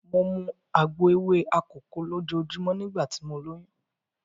Mo mu àgbo ewé akòko lójoojúmọ́ nígbà tí mo lóyún.